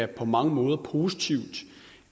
på mange måder er positivt